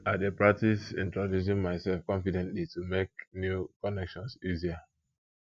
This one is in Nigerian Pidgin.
i dey practice introducing myself confidently to make new connections easier